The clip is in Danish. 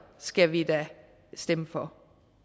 skal vi da stemme for